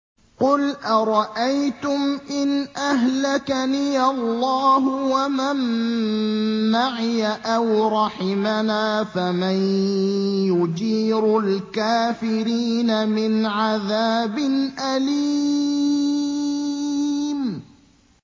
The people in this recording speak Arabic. قُلْ أَرَأَيْتُمْ إِنْ أَهْلَكَنِيَ اللَّهُ وَمَن مَّعِيَ أَوْ رَحِمَنَا فَمَن يُجِيرُ الْكَافِرِينَ مِنْ عَذَابٍ أَلِيمٍ